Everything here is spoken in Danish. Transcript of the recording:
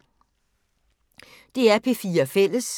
DR P4 Fælles